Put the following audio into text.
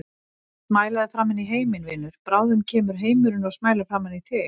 Smælaðu framan í heiminn, vinur, bráðum kemur heimurinn og smælar framan í þig.